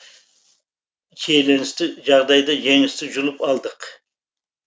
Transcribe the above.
шиеленісті жағдайда жеңісті жұлып алдық